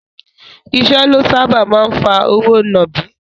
Ìṣẹ́ ló sáábà máa ń fa òwò nàbì.